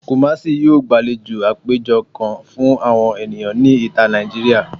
Kumasi yoo gbalejo apejọ kan fun awọn eniyan ni ita Naijiria